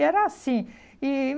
Era assim. E